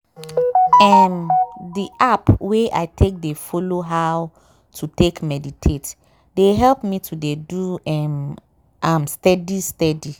um di app wey i take dey follow how to take meditate dey help me to dey do um am steadiy steady.